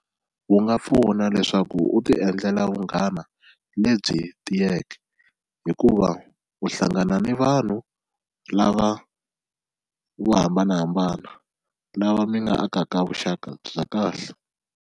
Wu nga pfuna leswaku u ti endlela vunghana lebyi tiyeke hikuva u hlangana ni vanhu lava vo hambanahambana lava mi nga akaka vuxaka bya kahle.